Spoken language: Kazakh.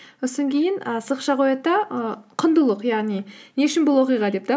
і сызықша қояды да і құндылық яғни не үшін бұл оқиға деп те